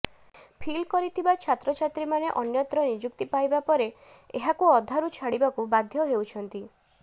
feel କରିଥିବା ଛାତ୍ରଛାତ୍ରୀମାନେ ଅନ୍ୟତ୍ର ନିଯୁକ୍ତି ପାଇବା ପରେ ଏହାକୁ ଅଧାରୁ ଛାଡ଼ିବାକୁ ବାଧ୍ୟ ହେଉଛନ୍ତି